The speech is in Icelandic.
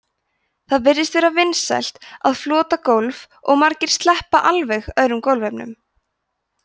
það virðist vera vinsælt að flota gólf og margir sleppa alveg öðrum gólfefnum